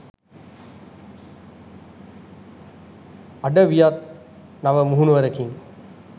අඩවියත් නව මුහුණුවරකින්